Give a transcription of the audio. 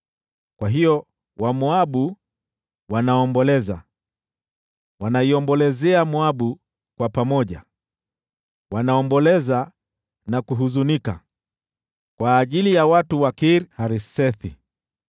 Kwa hiyo Wamoabu wanaomboleza, wanaiombolezea Moabu kwa pamoja. Wanaomboleza na kuhuzunika kwa ajili ya watu wa Kir-Haresethi.